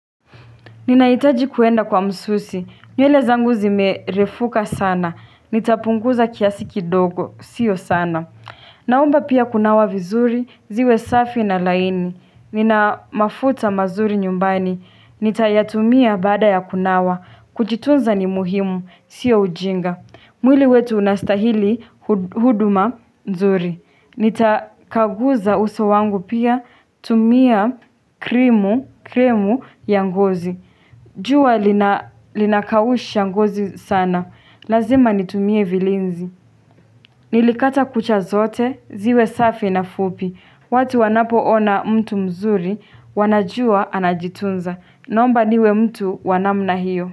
Ninaitaji kuenda kwa msusi. Nywele zangu zimerefuka sana. Nitapunguza kiasi kidogo. Sio sana. Naomba pia kunawa vizuri. Ziwe safi na laini. Nina mafuta mazuri nyumbani. Nitayatumia baada ya kunawa. Kuchitunza ni muhimu. Sio ujinga. Mwili wetu unastahili huduma nzuri. Nitakaguza uso wangu pia. Tumia krimu ya ngozi. Jua linakausha ngozi sana, lazima nitumie vilinzi. Nilikata kucha zote, ziwe safi na fupi. Watu wanapoona mtu mzuri, wanajua anajitunza. Naomba niwe mtu wa namna hiyo.